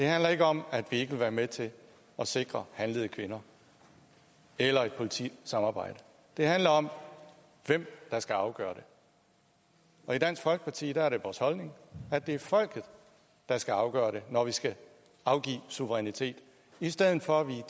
handler ikke om at vi ikke vil være med til at sikre handlede kvinder eller et politisamarbejde det handler om hvem der skal afgøre det og i dansk folkeparti er det vores holdning at det er folket der skal afgøre det når der skal afgives suverænitet i stedet for at vi